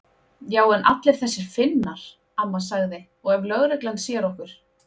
Já en allir þessir Finnar. amma sagði. og ef löggan sér okkur.